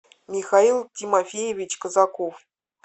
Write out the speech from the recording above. михаил тимофеевич казаков